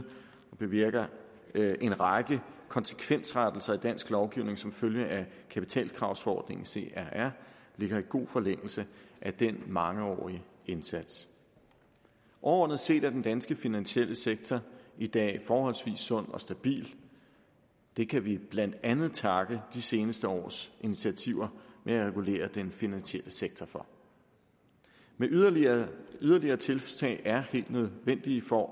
bevirker en række konsekvensrettelser i dansk lovgivning som følge af kapitalkravsforordning crr ligger i god forlængelse af den mangeårige indsats overordnet set er den danske finansielle sektor i dag forholdsvis sund og stabil det kan vi blandt andet takke de seneste års initiativer med at regulere den finansielle sektor for men yderligere yderligere tiltag er helt nødvendige for